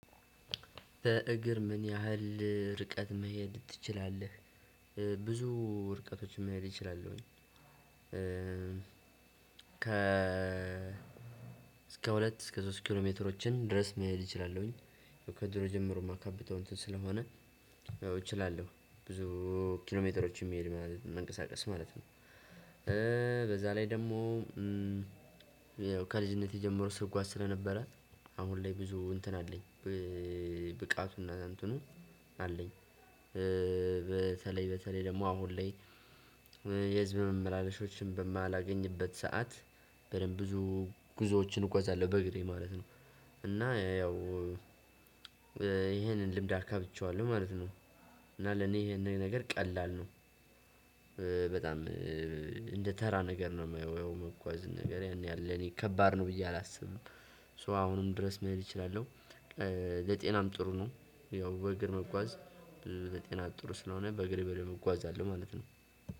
በእግር ምን ያህል ርቀት መሄድ ትችላለህ? ብዙ ርቀቶችም መሄድ እችላለሁኝ። ከ እስከ ሁለት እስከ ሶስት ኪሎ ሜትሮችን ድረስ መሄድ እችላለሁኝ። ከድሮ ጀምሮ የማካብተው እንትን ስለሆነ እችላለሁ ብዙ ኪሎ ሜትሮችን መንቀሳቀስ ማለት ነው። በዛ ላይ ደግሞ ከልጅነቴ ጀምሮ ስጓዝ ስለነበረ አሁን ላይ ብዙ እንትን አለኝ። ብቃቱና አንቱኑ አለኝ። በተለይ በተለይ ደግሞ አሁን ላይ የህዝብ መመላለሾችን በማላገኝበት ሰዓት በደንብ ብዙ ጉዞዎችን እጓዛለሁ በእግሬ ማለት ነው። እና ያው ይሄንን ልምድ አካብቼዋለሁ ማለት ነው። እና ለኔ ይሄንን ነገር ቀላል ነው። በጣም እንደ ተራ ነገር ነው የማየው መጓዝ ነገር ያን ያለ እኔ ከባድ ነው ብዬ አላስብም። ሶ አሁንም ድረስ መሄድ እችላለሁ። ለጤናም ጥሩ ነው ያው በእግር መጓዝ የጤና ጥሩ ስለሆነ በእግር በደንብ እጓዛለው ማለት ነው።